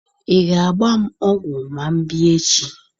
Ị ga-agba m ọgwụ ma m bịa echi?